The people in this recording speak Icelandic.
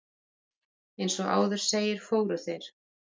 Eins og áður segir, fóru þeir